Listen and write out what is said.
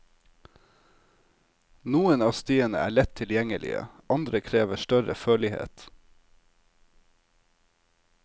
Noen av stiene er lett tilgjengelige, andre krever større førlighet.